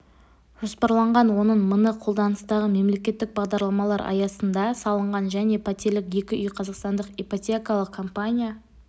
жоспарланған оның мыңы қолданыстағы мемлекеттік бағдарламалар аясында салынған және пәтерлік екі үй қазақстандық ипотекалық компания